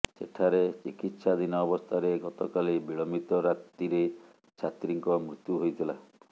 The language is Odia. ସେଠାରେ ଚିକିତ୍ସାଧୀନ ଅବସ୍ଥାରେ ଗତକାଲି ବିଳମ୍ୱିତ ରାତିରେ ଛାତ୍ରୀଙ୍କ ମୃତ୍ୟୁ ହୋଇଥିଲା